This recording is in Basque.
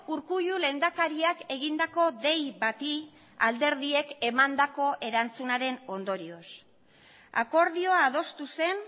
urkullu lehendakariak egindako dei bati alderdiek emandako erantzunaren ondorioz akordioa adostu zen